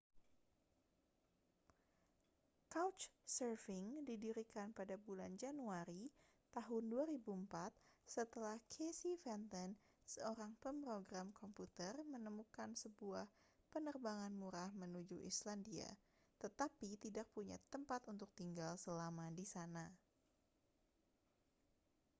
couchsurfing didirikan pada bulan januari tahun 2004 setelah casey fenton seorang pemrogram komputer menemukan sebuah penerbangan murah menuju islandia tetapi tidak punya tempat untuk tinggal selama di sana